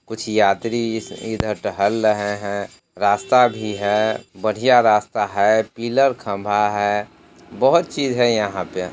कुछ यात्री इस इधर टहल रहे है रास्ता भी है बढ़िया रास्ता है पिल्लर खंभा है बहुत चीज़ है यहाँ पे।